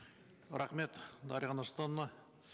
рахмет дарига нұрсултановна